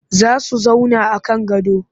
Za su zauna a kan gado